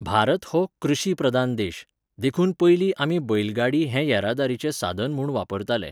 भारत हो कृशी प्रधान देश, देखून पयलीं आमी बैलगाडी हें येरादारिचें साधन म्हूण वापरताले